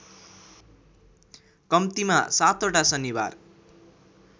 कम्तिमा सातवटा शनिबार